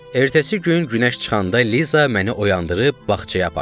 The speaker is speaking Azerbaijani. Ertəsi gün günəş çıxanda Liza məni oyandırıb bağçaya apardı.